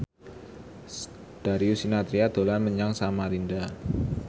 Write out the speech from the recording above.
Darius Sinathrya dolan menyang Samarinda